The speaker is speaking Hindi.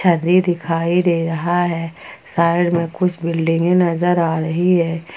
अभी दिखाई दे रहा है साइड में कुछ बिल्डिंगे नजर आ रही है।